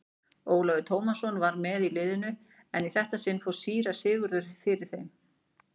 Ólafur Tómasson var með í liðinu en í þetta sinn fór síra Sigurður fyrir þeim.